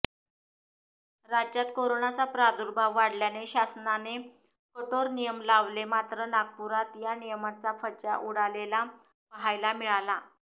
राज्यात करोनाचा प्रादुर्भाव वाढल्याने शासनाने कठोर नियम लावलेमात्र नागपुरात या नियमांचा फज्जा उडालेला पहायला मिळाला